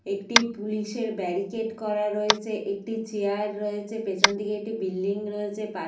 একটি পুলিশ -এর ব্যারিকেড করা রয়েছে। একটি চেয়ার রয়েছে। পিছন দিকে একটি বিল্ডিং রয়েছে। তার --